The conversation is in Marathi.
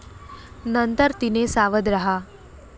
नंतर तिने सावध राहा!